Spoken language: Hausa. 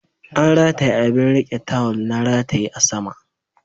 An rataye abin riƙe tawul na rataye a sama